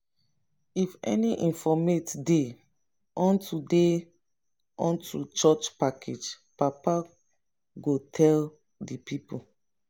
if any special informate dey unto dey unto church package papa go tell di pipol